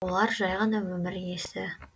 олар жай ғана өмір иесі